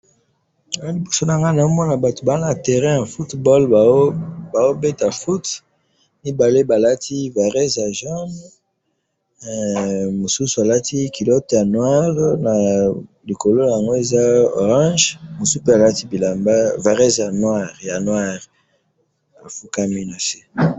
awa liboso na nga, nazo mona batu baza na terrain ya football bazo beta foot, mibale balati varèse ya jaune, mosusu alati culotte ya noir na likolo na yango eza orange, mosusu pe alati, bilamba, varèse ya noir, ya noir, afukami na se